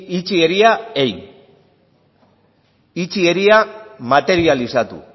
materializatu